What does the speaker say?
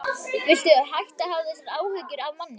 Viltu hætta að hafa þessar áhyggjur af manni!